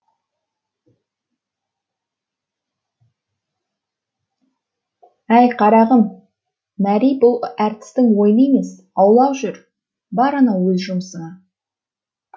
әй қарағым мәри бұл әртістің ойыны емес аулақ жүр бар анау өз жұмысыңа